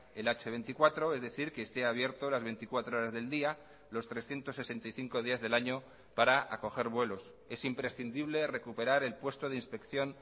el hache veinticuatro es decir que esté abierto las veinticuatro horas del día los trescientos sesenta y cinco días del año para acoger vuelos es imprescindible recuperar el puesto de inspección